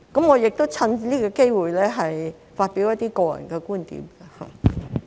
我亦趁此機會發表一些個人觀點。